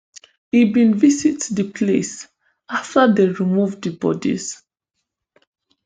e bin visit di place afta dem remove di bodies